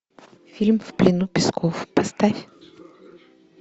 фильм в плену песков поставь